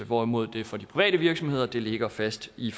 hvorimod det for de private virksomheder ligger fast i